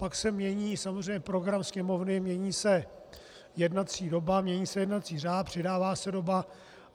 Pak se mění samozřejmě program Sněmovny, mění se jednací doba, mění se jednací řád, přidává se doba.